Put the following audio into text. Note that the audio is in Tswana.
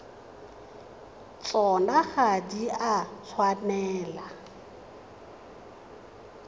tsona ga di a tshwanela